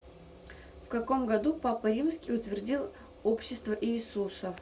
в каком году папа римский утвердил общество иисуса